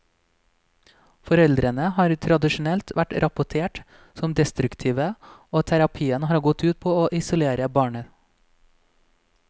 Foreldrene har tradisjonelt vært rapportert som destruktive, og terapien har gått ut på å isolere barnet.